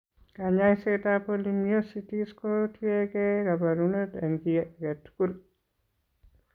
Kaany'ayseetap polymyositis ko tiyekeey kaabarunet eng' chi ake tugul.